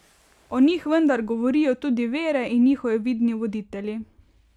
O njih vendar govorijo tudi vere in njihovi vidni voditelji.